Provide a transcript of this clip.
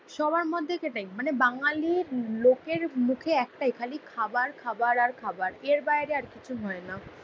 সবার মধ্যে সেটাই মানে বাঙালির লোকের মুখে একটাই খালি খাবার খাবার আর খাবার। এর বাইরে আর কিছু হয়না।